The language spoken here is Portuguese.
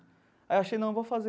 Aí eu achei, não, eu vou fazer.